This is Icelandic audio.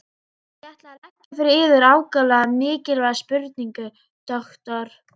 Ég ætla að leggja fyrir yður ákaflega mikilvæga spurningu, doktor.